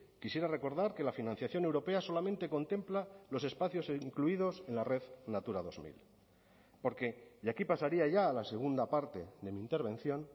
quisiera recordar que la financiación europea solamente contempla los espacios incluidos en la red natura dos mil porque y aquí pasaría ya a la segunda parte de mi intervención